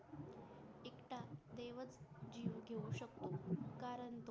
जीव घेऊ शकतात कारण